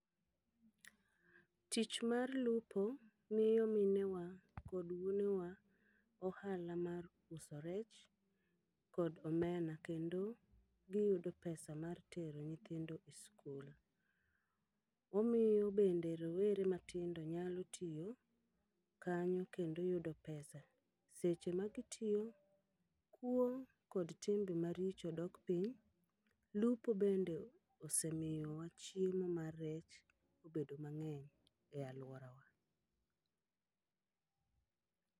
Tich mar lupo miyo mine wa kod wuone wa ohala mar uso rech kod omena, kendo giyudo pesa mar tero nyithindo e skul. Omiyo bende rowere matindo nyalo tiyo kanyo kendo yudo pesa. Seche ma gitiyo, kuo kod timbe maricho dok piny, lupo bende osemiyo wa chiemo mar rech obedo mang'eny e alworawa.